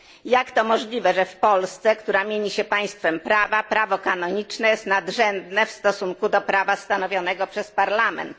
Jak to możliwe, że w Polsce, która mieni się państwem prawa, prawo kanoniczne jest nadrzędne w stosunku do prawa stanowionego przez parlament?